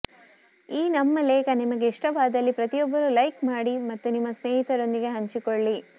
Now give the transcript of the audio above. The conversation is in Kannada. ಈ ನಮ್ಮ ಲೇಖನ ನಿಮಗೆ ಇಷ್ಟವಾದಲ್ಲಿ ಪ್ರತಿಯೊಬ್ಬರೂ ಲೈಕ್ ಮಾಡಿ ಮತ್ತು ನಿಮ್ಮ ಸ್ನೇಹಿತರೊಂದಿಗೆ ಹಂಚಿಕೊಳ್ಳಿ